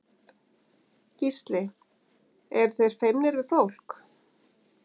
Gísli: Eru þeir feimnir við fólk?